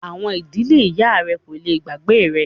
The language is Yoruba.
Àwọn “ ìdílé ìyá rẹ” kò le gbàgbé rẹ.